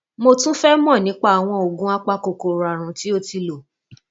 mo tún fẹ mọ nípa àwọn oògùn apakòkòrò àrùn tí o ti lò